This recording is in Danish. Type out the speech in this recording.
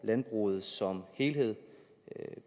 landbruget som helhed